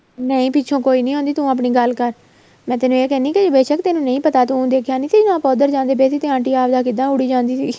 ਨਹੀਂ ਪਿੱਛੋ ਕੋਈ ਨਹੀਂ ਆਉਦੀ ਤੂੰ ਆਪਣੀ ਗੱਲ ਕਰ ਮੈਂ ਤੈਨੂੰ ਏ ਕਹਿਣੀ ਬੇਸ਼ਕ ਤੈਨੂੰ ਨਹੀਂ ਪਤਾ ਤੂੰ ਦੇਖਿਆ ਨਹੀਂ ਸੀਗਾ ਆਪਾਂ ਉੱਧਰ ਜਾਂਦੇ ਪਏ ਸੀ ਤੇ ਆਟੀਆਂ ਆਪਦੀਆਂ ਕਿੱਦਾਂ ਉੱਡੀ ਜਾਂਦੀ ਸੀ